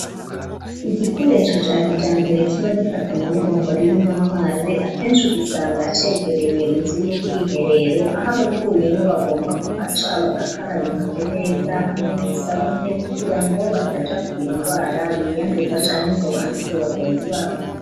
Igikoresho ca kijambere kiba gifatanye n'ibombo ririmwo amazi akeshi ugisanga cegereye inzu y'ubwiherero aho abavuyemwo bagomba ku haca bagakaraba intoke neza hamwe n'isabune kugira ngo bataja kugira ingwara biyanduba canke ngo banduze bagenzi babo.